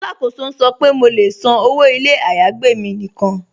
Alákóso n sọ̀ pe mó lè ṣán ọwọ́ ilẹ̀ ayágbẹ̀ mi níkan.